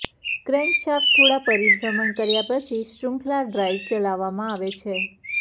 crankshaft થોડા પરિભ્રમણ કર્યા પછી શૃંખલા ડ્રાઈવ ચલાવવામાં આવે છે